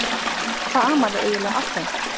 Hvað amaði eiginlega að þeim?